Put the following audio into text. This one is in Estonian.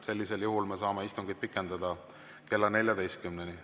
Sellisel juhul me saame istungit pikendada kella 14-ni.